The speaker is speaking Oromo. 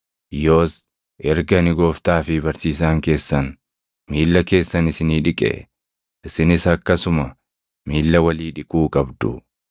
Yoos erga ani Gooftaa fi Barsiisaan keessan miilla keessan isinii dhiqee, isinis akkasuma miilla walii dhiquu qabdu.